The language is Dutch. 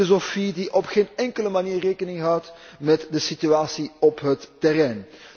Een filosofie die op geen enkele manier rekening houdt met de situatie op het terrein.